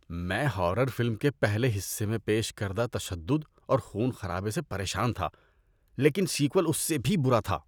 میں horror film کے پہلے حصے میں پیش کردہ تشدد اور خون خرابے سے پریشان تھا لیکن سیکوئل اس سے بھی برا تھا۔